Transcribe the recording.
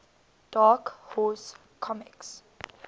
dark horse comics